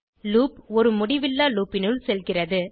loop ஒரு முடிவில்லா loop னுள் செல்கிறது